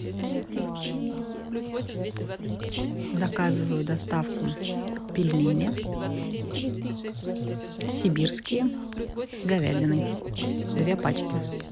заказываю доставку пельмени сибирские с говядиной две пачки